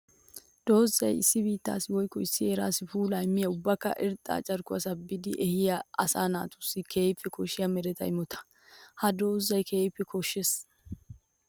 Doozay issi biittassi woykko issi heerassi puula immiya ubbakka irxxa carkkuwa saabiddi ehiya asaa natussi keehippe koshiya meretta imotta. Ha doozay keehippe koshees.